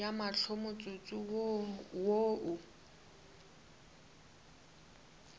ya mahlo motsotso wo o